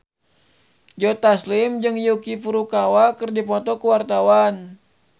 Joe Taslim jeung Yuki Furukawa keur dipoto ku wartawan